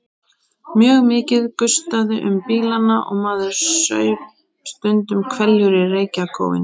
Mjög mikið gustaði um bílana og maður saup stundum hveljur í reykjarkófinu.